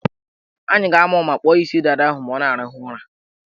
Anyị ga-ama ụma kpụọ ya isi dada ahụ ma ọ na-arahụ ụra.